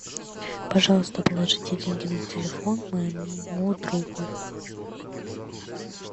пожалуйста положите деньги на телефон моему другу